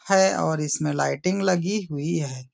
है और इसमें लाइटिंग लगी हुई है।